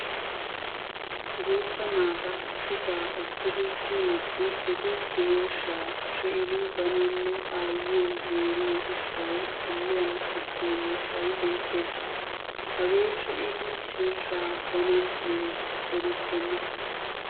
Guutta naata issisaa ekkidi kiyiiddi eti smsheeshshaa shee'idi bananne aayyiyo mooriyo gishshawu dulliyan qachchiyo miishshay beettes. Hagee shee'idi sheeshsha banan uyees eerissenna.